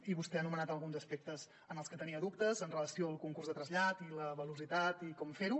i vostè ha anomenat alguns aspectes en els que tenia dubtes amb relació al concurs de trasllat i la velocitat i com fer ho